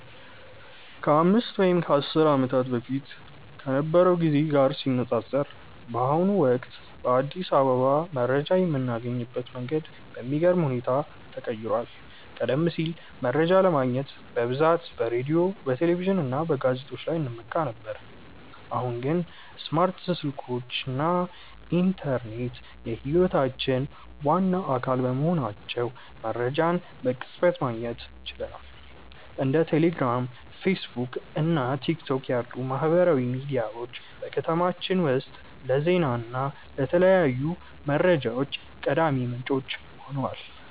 ከአምስት ወይም ከአስር ዓመታት በፊት ከነበረው ጊዜ ጋር ሲነፃፀር፣ በአሁኑ ወቅት በአዲስ አበባ መረጃ የምናገኝበት መንገድ በሚገርም ሁኔታ ተቀይሯል። ቀደም ሲል መረጃ ለማግኘት በብዛት በሬዲዮ፣ በቴሌቪዥን እና በጋዜጦች ላይ እንመካ ነበር፤ አሁን ግን ስማርት ስልኮች እና ኢንተርኔት የህይወታችን ዋና አካል በመሆናቸው መረጃን በቅጽበት ማግኘት ችለናል። እንደ ቴሌግራም፣ ፌስቡክ እና ቲክቶክ ያሉ ማህበራዊ ሚዲያዎች በከተማችን ውስጥ ለዜና እና ለተለያዩ መረጃዎች ቀዳሚ ምንጮች ሆነዋል።